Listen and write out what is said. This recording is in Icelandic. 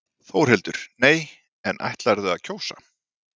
Þórhildur: Nei, en ætlarðu að kjósa?